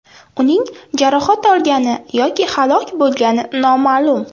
Uning jarohat olgani yoki halok bo‘lgani noma’lum.